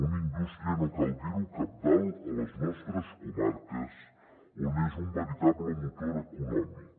una indústria no cal dir ho cabdal a les nostres comarques on és un veritable motor econòmic